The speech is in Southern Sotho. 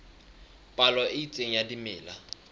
palo e itseng ya dimela